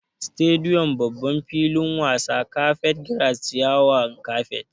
Stadium=babban filin wasa, carpet grass=ciyawar kapet